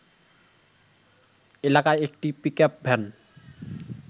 এলাকায় একটি pickup van